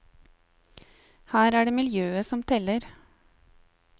Her er det miljøet som teller.